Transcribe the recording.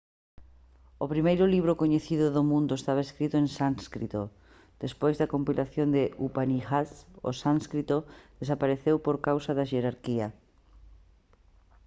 o primeiro libro coñecido do mundo estaba escrito en sánscrito despois da compilación de upanishads o sánscrito desapareceu por causa da xerarquía